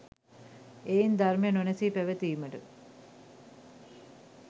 එයින් ධර්මය නොනැසී පැවතීමට